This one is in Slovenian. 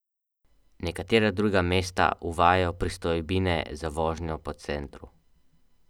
Nekatera druga mesta uvajajo pristojbine za vožnjo po centru.